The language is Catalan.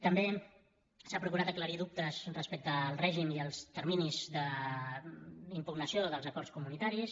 també s’ha procurat aclarir dubtes respecte al règim i als terminis d’impugnació dels acords comunitaris